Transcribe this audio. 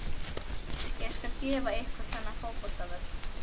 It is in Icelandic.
Ég skal gefa ykkur þennan fótboltavöll.